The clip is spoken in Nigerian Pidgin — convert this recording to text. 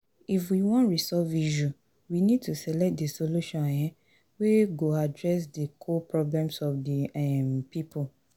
if we wan resolve issue we need to select di solution um wey go address di core problems of di um pipo